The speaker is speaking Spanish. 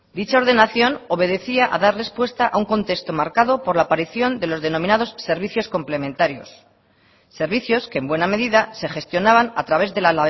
dicha ordenación obedecía a dar respuesta a un contexto marcadopor la aparición de los denominados servicios complementarios servicios que en buena medida se gestionaban a través de la